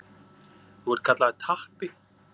Þú ert kallaður Tappi.